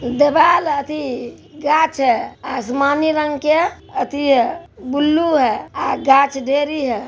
दीवाल अथि गाछ है आसमानी रंग के अथि ब्लू है अ गाछ ढेरी है।